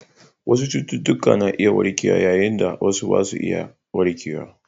Wasu cututtuka na iya warkewa yayin da wasu ba za su iya warkewa ba.